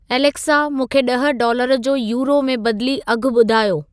Alexa मूंखे ॾह dollar जो यूरो में बदिली अघु ॿुधायो